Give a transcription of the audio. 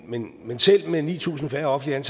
men men selv med ni tusind færre offentligt